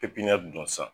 pipɲɛri don sisan